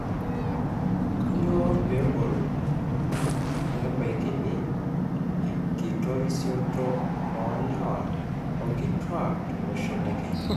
Kanyioo pegol pebaikini enkitorisioto olewa o nkitwak tolosho le Kenya.